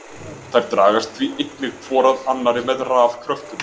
Þær dragast því einnig hvor að annari með rafkröftum.